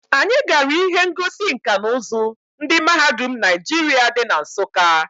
Anyi gara ihe ngosi nka na uzu ndi mahadum Naijiria di na Nsukka.